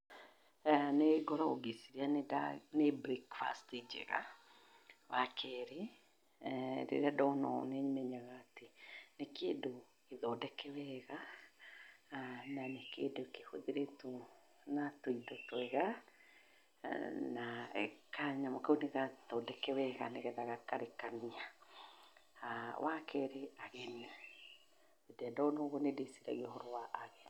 Nĩ ngoragwo ngĩciria nĩ breakfast njega. Wa kerĩ, rĩrĩa ndona ũũ nĩ menyaga atĩ nĩ kĩndũ gĩthondeke wega na nĩ kĩndũ kĩhũthĩrĩtwo na tũindo twega, na kanyamũ kau nĩ gathondeke wega nĩgetha gakarekania. Wa kerĩ, ageni. Rĩrĩa ndona ũguo nĩ ndĩĩciragia ũhoro wa ageni.